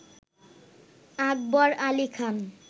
আকবর Ali খান